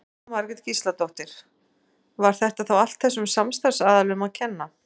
Jóhanna Margrét Gísladóttir: Var þetta þá allt þessum samstarfsaðilum að kenna?